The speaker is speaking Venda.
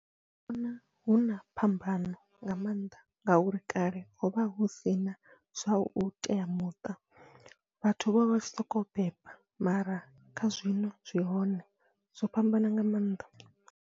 Ndi vhona huna phambano nga mannḓa, ngauri kale hovha husina zwa u teamuṱa vhathu vha vha soko beba mara kha zwino zwi hone zwo fhambana nga maanḓa.